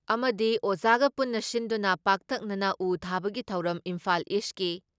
ꯑꯃꯗꯤ ꯑꯃꯖꯒ ꯄꯨꯟꯅ ꯁꯤꯟꯗꯨꯅ ꯄꯥꯛꯇꯛꯅꯅ ꯎ ꯊꯥꯕꯒꯤ ꯊꯧꯔꯝ ꯏꯝꯐꯥꯜ ꯏꯁꯀꯤ